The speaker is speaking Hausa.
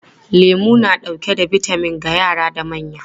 Lemu na dauke da bitamin ga yara da manya.